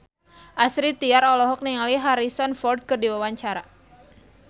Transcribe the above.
Astrid Tiar olohok ningali Harrison Ford keur diwawancara